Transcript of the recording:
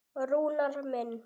Rúnar minn.